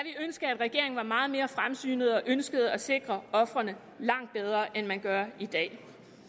ønske at regeringen var meget mere fremsynet og ønskede at sikre ofrene langt bedre end man gør i dag